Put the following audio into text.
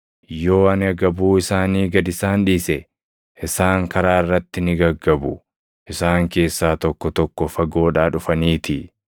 Yoo ani agabuu isaanii gad isaan dhiise, isaan karaa irratti ni gaggabu; isaan keessaa tokko tokko fagoodhaa dhufaniitii.”